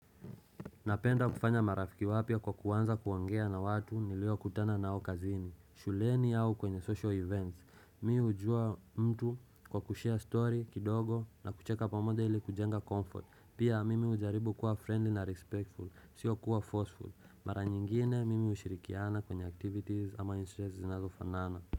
Napenda kufanya marafiki wapya kwa kuanza kuongea na watu nilio kutana na au kazini shuleni au kwenye social events Mi hujua mtu kwa kushare story kidogo na kucheka pamode ili kujenga comfort Pia mimi hujaribu kuwa friendly na respectful, sio kuwa forceful Mara nyingine mimi ushirikiana kwenye activities ama interest zinazo fanana.